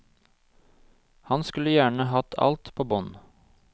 Han skulle gjerne hatt alt på bånd.